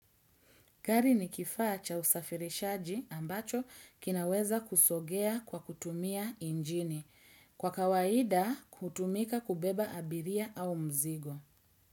Gari ni kifaa cha usafirishaji ambacho kinaweza kusogea kwa kutumia injini. Kwa kawaida kutumika kubeba abiria au mzigo.